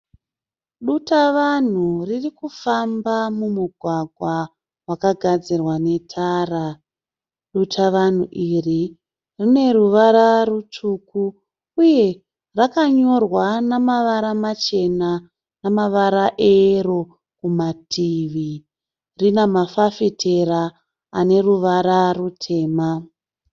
Dutavanhu ririkufamba mumugwagwa wakagadzirwa netara. Dutavanhu iri rine ruvara rutsvuku uye rakanyorwa namavara machena nemavara eyero kumativi. Rine mafafitera ane ruvara rutema.